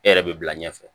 E yɛrɛ bɛ bila ɲɛfɛ